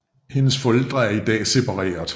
Hendes forældre er i dag separeret